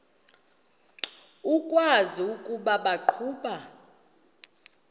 ukwazi ukuba baqhuba